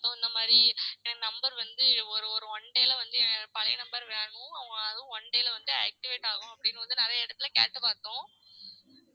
So இந்த மாரி என் number வந்து ஒரு ஒரு one day ல வந்து என் பழைய number வேணும் அதுவும் one day ல வந்து activate ஆகும் அப்டின்னு வந்து நெறைய இடத்துல கேட்டு பாத்தோம்